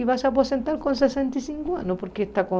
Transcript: E vai se aposentar com sessenta e cinco anos, porque está com